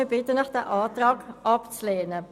Wir bitten Sie, den Antrag der Regierung abzulehnen.